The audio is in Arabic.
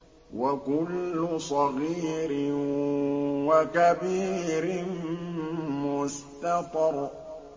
وَكُلُّ صَغِيرٍ وَكَبِيرٍ مُّسْتَطَرٌ